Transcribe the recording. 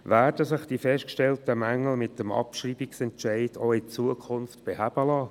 Werden sich die festgestellten Mängel mit dem Abschreibungsentscheid in Zukunft beheben lassen?